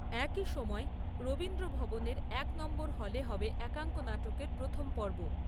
একই সময়ে রবীন্দ্র ভবনের এক নং হলে হবে একাঙ্ক নাটকের প্রথম পর্ব ।